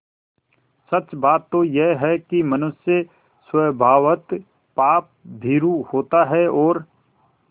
सच बात तो यह है कि मनुष्य स्वभावतः पापभीरु होता है और